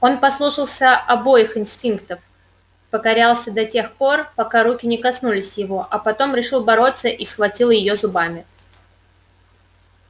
он послушался обоих инстинктов покорялся до тех нор пока рука не коснулась его а потом решил бороться и схватил её зубами